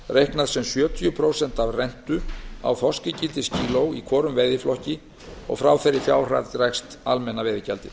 reiknað sem sjötíu prósent af rentu á þorskígildiskíló í hvorum veiðiflokki og frá þeirri fjárhæð dregst almenna veiðigjaldið